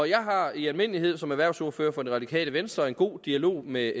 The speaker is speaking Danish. jeg har i almindelighed som erhvervsordfører for det radikale venstre en god dialog med